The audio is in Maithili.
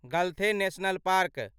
गलथे नेशनल पार्क